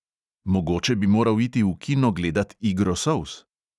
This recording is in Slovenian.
Mogoče bi moral iti v kino gledat igro solz?